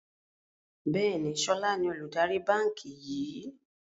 Bẹ́ẹ̀ni, sọlá ni olùdarí báńkì yìí